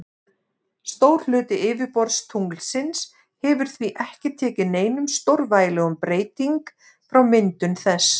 Stór hluti yfirborðs tunglsins hefur því ekki tekið neinum stórvægilegum breyting frá myndun þess.